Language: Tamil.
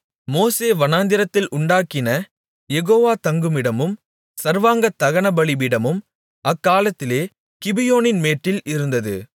மோசே வனாந்திரத்தில் உண்டாக்கின யெகோவா தங்குமிடமும் சர்வாங்க தகனபலிபீடமும் அக்காலத்திலே கிபியோனின் மேட்டில் இருந்தது